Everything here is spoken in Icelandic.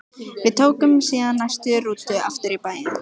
Við tókum síðan næstu rútu aftur í bæinn.